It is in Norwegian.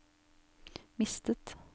mistet